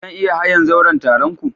Zan iya hayan zauren taron ku?